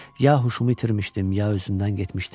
Ya huşumu itirmişdim, ya özümdən getmişdim.